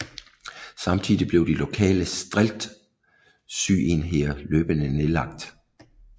Samtidig blev de lokale streltsyenheder løbende nedlagt